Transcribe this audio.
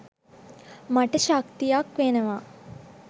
මට ශක්තියක් වෙනවා